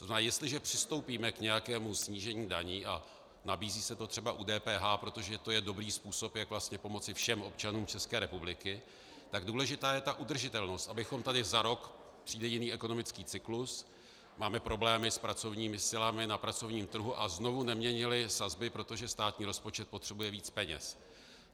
To znamená, jestliže přistoupíme k nějakému snížení daní, a nabízí se to třeba u DPH, protože to je dobrý způsob, jak vlastně pomoci všem občanům České republiky, tak důležitá je ta udržitelnost, abychom tady za rok - přijde jiný ekonomický cyklus, máme problémy s pracovními silami na pracovním trhu a znovu neměnili sazby, protože státní rozpočet potřebuje víc peněz.